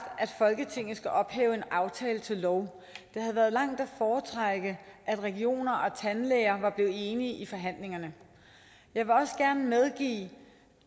at folketinget skal ophæve en aftale til lov det havde været langt at foretrække at regioner og tandlæger var blevet enige i forhandlingerne jeg vil også gerne medgive